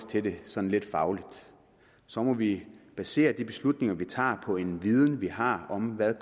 til det sådan lidt fagligt så må vi basere de beslutninger vi tager på en viden vi har om hvad